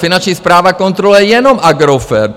Finanční správa kontroluje jenom Agrofert!